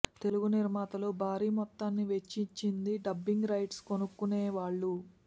తెలుగు నిర్మాతలు భారీ మొత్తాన్ని వెచ్చింది డబ్బింగ్ రైట్స్ కొనుక్కొనే వాళ్లు